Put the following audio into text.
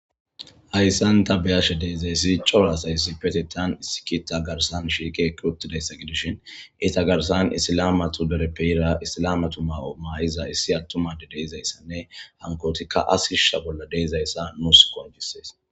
Hayssan ta beyashe deedayssi coro asaysi petetan issikita garsan shiike kirutidayssa gidishin ita garsan issilamatu dereppeira issilamatu mawo maayiza issi attumade deezayssanne hankootikka asishsha bolla deezayssa muusko ajjissees.